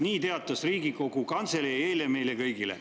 Nii teatas Riigikogu Kantselei eile meile kõigile.